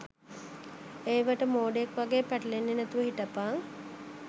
ඒවට මෝඩයෙක් වගේ පැටලෙන්නෙ නැතුව හිටපං